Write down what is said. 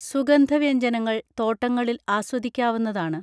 സുഗന്ധ വ്യജ്ഞനങ്ങൾ തോട്ടങ്ങളിൽ ആസ്വദിക്കാവുന്നതാണ്